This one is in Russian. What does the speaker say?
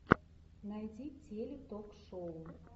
найди теле ток шоу